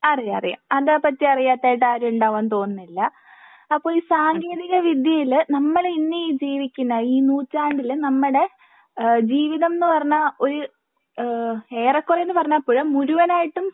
അറിയാം അറിയാം അതേപ്പറ്റി അറിയാത്തതായിട്ട് ആരും ഉണ്ടാകും എന്ന് തോന്നുന്നില്ല. അപ്പൊ ഈ സാങ്കേന്തിക വിദ്യയില് നമ്മള് ഇന്ന് ഈ ജീവിക്കുന്ന ഈ നൂറ്റാണ്ടിൽ നമ്മുടെ ജീവിതം ന്ന് പറഞ്ഞാൽ ഒരു ഏഹ് ഏറെ കുറേ പറഞ്ഞാൽ പോര മുഴുവനായിട്ടും